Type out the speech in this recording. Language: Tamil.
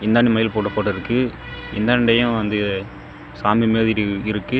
இந்தான்ட மயில் போட்ட ஃபோட்டா இருக்கு இந்தான்டயு வந்து சாமி மாதிரி இர் இருக்கு.